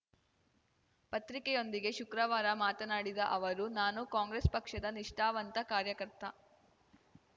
ಪತ್ರಿಕೆಯೊಂದಿಗೆ ಶುಕ್ರವಾರ ಮಾತನಾಡಿದ ಅವರು ನಾನು ಕಾಂಗ್ರೆಸ್‌ ಪಕ್ಷದ ನಿಷ್ಠಾವಂತ ಕಾರ್ಯಕರ್ತ